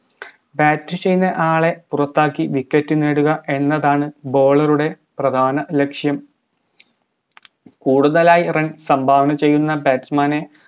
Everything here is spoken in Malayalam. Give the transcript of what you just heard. bat ചെയ്യുന്ന ആളെ പുറത്താക്കി wicket നേടുക എന്നതാണ് bowler ഉടെ പ്രധാന ലക്ഷ്യം കൂടുതലായി run സംഭാവന ചെയ്യുന്ന batsman നെ